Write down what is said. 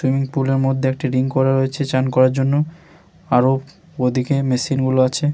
Swimming pool -এর মধ্যে একটি রিং করা রয়েছে চান করার জন্য । আরো ওদিকে মেশিন -গুলো আছে।